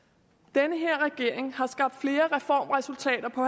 den her regering har skabt flere reformresultater på